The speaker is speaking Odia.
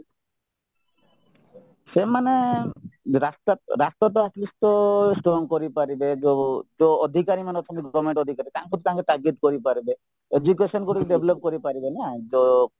ସେମାନେ ରାସ୍ତା ରାସ୍ତାତ at least ତ strong କରିପାରିବେ ଯୋଉ ଯୋଉ ଅଧିକାର ମାନେଅଛନ୍ତି government ଅଧିକାରୀ ତାଙ୍କୁ ତାଗିଦ କରିପାରିବେ education ଗୁଡ଼ିକ develop କରିପାରିବେ ନା ତ